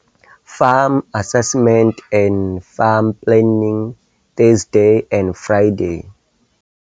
Farm Assessment and Farm Planning, Thursday and Friday,